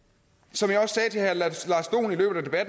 som jeg også sagde til herre lars dohn i løbet af